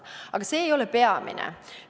Aga see ei ole peamine.